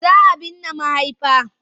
Za a binne mahaifa.